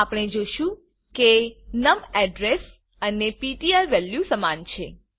આપણે જોશું કે નમ અડ્રેસ અને પીટીઆર વેલ્યુ સમાન છે